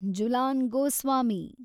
Jhulan Goswami